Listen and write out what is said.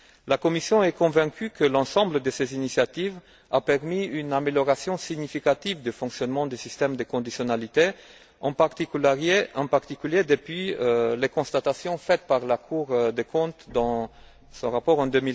La Commission est convaincue que l'ensemble de ces initiatives a permis une amélioration significative du fonctionnement du système de conditionnalité, en particulier depuis les constatations faites par la Cour des comptes dans son rapport en